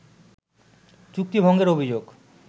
চুক্তি ভঙ্গের অভিযোগ